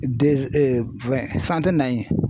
fɛn san tɛ na ye.